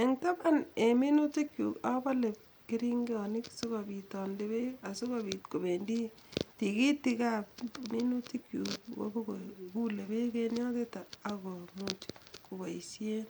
En tapan en minutikyuk apole keringonik sikopiit ande peek asikopiit kopendi tigitikap minutikyuk ipokogule peek en yotet agomuch kopoisien